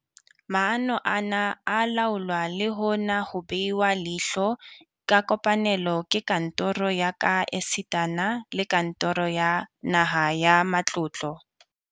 Maano ana a laolwa le hona ho behwa leihlo ka kopanelo ke kantoro ya ka esitana le kantoro ya Naha ya Matlotlo.